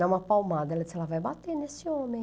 Dá uma palmada, ela disse, ela vai bater nesse homem.